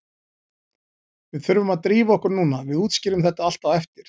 Við þurfum að drífa okkur núna, við útskýrum þetta allt á eftir.